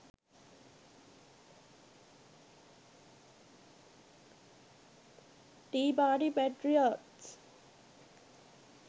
tea party patriots